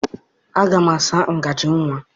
Aga m asa ngaji nwa.